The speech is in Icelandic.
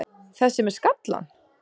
Þessi með skallann?